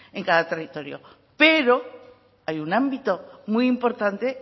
en cada territorio pero hay un ámbito muy importante